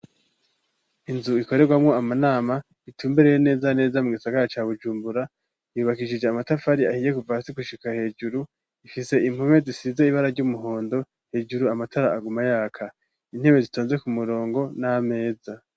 Inzu ikorerwamo amanama itumbereye neza neza mu gisagara ca Bujumbura yubakishije amatafari ahiye kuva gushika hejuru ifise impume zisize ibara ry'umuhondo hejuru amatara aguma yaka intebe zitonze ku murongo n'ameza.